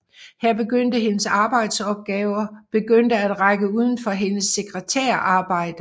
Her begyndte hendes arbejdsopgaver begyndte at række udenfor hendes sekretærarbejde